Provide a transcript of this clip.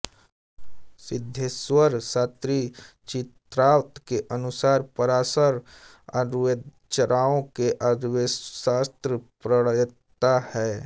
सिद्धेश्वर शास्त्री चित्राव के अनुसार पराशर आयुर्वेदाचार्यों में आयुर्वेदशास्त्र प्रणेता हैं